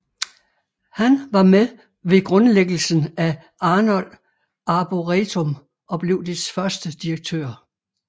Han var med ved grundlæggelsen af Arnold Arboretum og blev dets første direktør